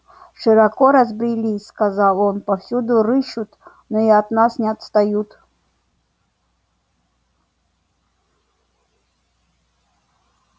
широко разбрелись сказал он повсюду рыщут но и от нас не отстают